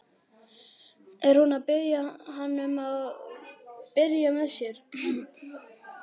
Er hún að biðja hann um að byrja með sér?